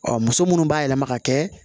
Ɔ muso munnu b'a yɛlɛma ka kɛ